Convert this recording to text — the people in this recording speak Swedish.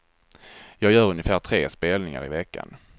Jag gör ungefär tre spelningar i veckan.